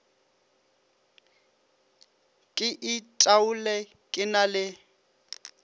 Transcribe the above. ke itaole ke na le